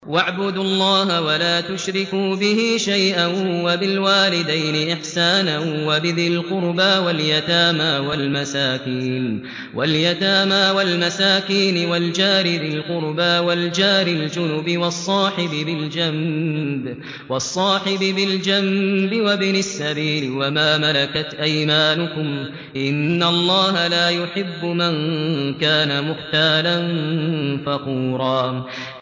۞ وَاعْبُدُوا اللَّهَ وَلَا تُشْرِكُوا بِهِ شَيْئًا ۖ وَبِالْوَالِدَيْنِ إِحْسَانًا وَبِذِي الْقُرْبَىٰ وَالْيَتَامَىٰ وَالْمَسَاكِينِ وَالْجَارِ ذِي الْقُرْبَىٰ وَالْجَارِ الْجُنُبِ وَالصَّاحِبِ بِالْجَنبِ وَابْنِ السَّبِيلِ وَمَا مَلَكَتْ أَيْمَانُكُمْ ۗ إِنَّ اللَّهَ لَا يُحِبُّ مَن كَانَ مُخْتَالًا فَخُورًا